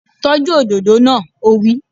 Tọ́jú òdòdó náà! Ó wí